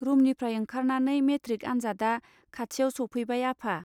रूमनिफ्राय ओंखारनानै मेट्रिक आनजादआ खाथियाव सौफैबाय आफा.